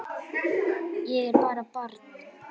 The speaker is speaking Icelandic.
Ég er bara barn.